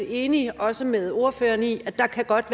enig også med ordføreren i at der godt